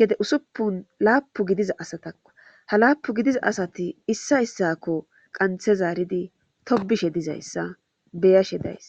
gede usuppun laapu gidiza asatakko ha laapu gidiza asati issa issako qanthe zaaridi tobishe dizayssa beyashe days